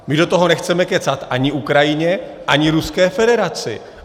My do toho nechceme kecat ani Ukrajině, ani Ruské federaci.